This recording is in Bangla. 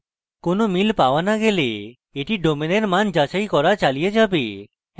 কোনো মিল no পাওয়া গেলে এটি domain এর match যাচাই করা চালিয়ে যাবে